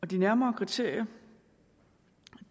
de nærmere kriterier